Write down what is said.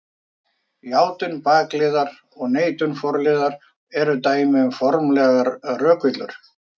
Játun bakliðar og neitun forliðar eru dæmi um formlegar rökvillur.